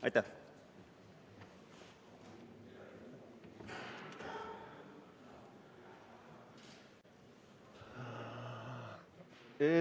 Aitäh!